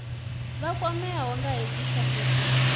vha kwameaho nga hedzi tshanduko